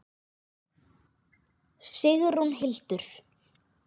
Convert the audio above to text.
Sigrún Hildur.